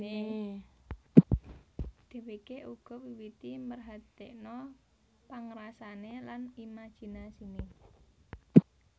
Dhéwéké uga miwiti merhatèkna pangrasané lan imajinasiné